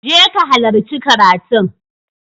je ka halarci karatun!